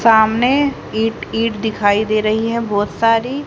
सामने ईट ईट दिखाई दे रही है बहोत सारी।